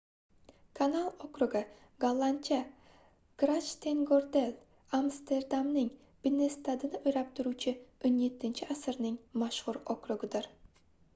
kanal okrugi gollandcha: grachtengordel — amsterdamning binnestadini o'rab turuvchi 17-asrning mashhur okrugidir